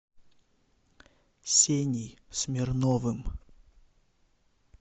сеней смирновым